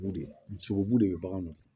Sogobu de bɛ bagan nɔfɛ